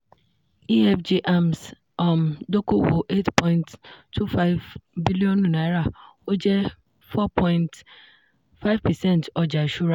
efg hermes um dókòwò eight point two five bílíọ̀nù naira ó jẹ́ four point five percent ọjà ìṣúra.